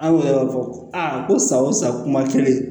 An y'o fɔ a ko san o san kuma kelen